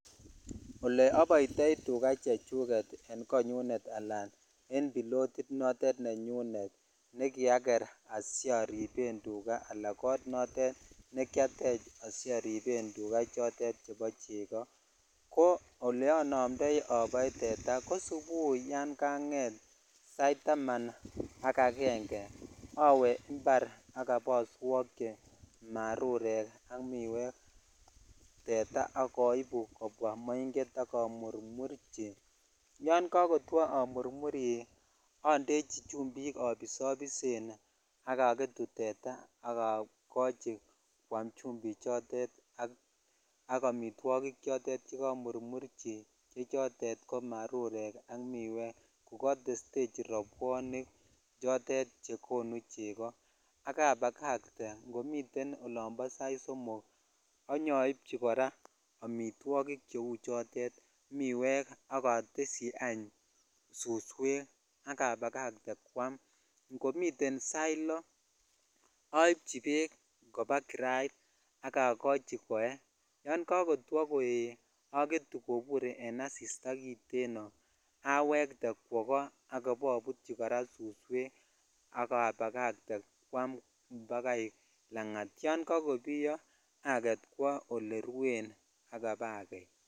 Olee oboitoi tukaa chechuket en konyunet alaa en pilotit notet nenyunet nekiaker asiariben tukaa alaa kot notet nekiatech asioriben tukaa chotet chebo cheko ko oleonomndoi oboe teta ko subui yon kanget saitaman ak akenge awee imbar ak iboswokyi marurek ak miwek teta ak oibu kobwa moing'et ak amurmurchi, yoon kokotwo amurmuri ondechi chumbik abisobisen ak oketu teta ak okochi kwaam chumbichotet ak amitwokik chotet chekomurmurchi che chotet komarurek ak miwek ko kotestechi robwonik chotet chekonu cheko ak abakakte ngomiten olombo sait somok anyoibchi kora amitwokik cheu chotet miwek ak oteshi any suswek ak abakakte kwaam, ngomiten sait loo aibchi bekk koba kirait ak okochi koee, yoon kokotwo koee aketu kobur en asista kiteno awekte kwoo koo ak ibobutyi kora suswek ak abakakte kwaam bakai lanat yoon kokobiyo aket kwoo olerwen ak ibakei.